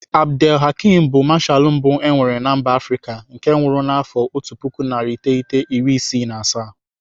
Abdel Hakim bu mashalụ mbụ e nwere mba Afrịka nke nwụrụ n'afọ otu puku narị iteghete iri isii na asaa..